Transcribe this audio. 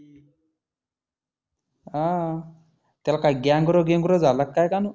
हा त्याला काय गॅंग्रो बिंग्रो झाला काय कानु?